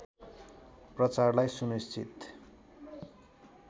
प्रचारलाई सुनिश्चित